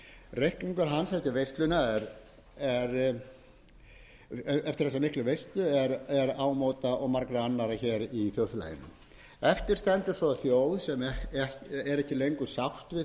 svo þjóð sem er ekki lengur sátt við þennan höfuðatvinnuveg sinn og veit ekki hvað upp á sig stendur veðrið í þeim efnum hluta af ósætti þjóðarinnar má beint